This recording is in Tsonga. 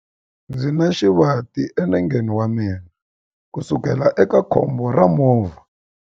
Ndzi na xivati enengeni wa mina kusukela eka khombo ra movha.